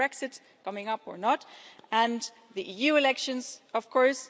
We have Brexit coming up or not and the EU elections, of course.